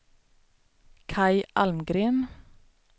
Kaj Almgren